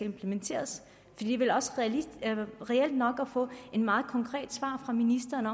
implementeret det er vel reelt nok at få et meget konkret svar fra ministeren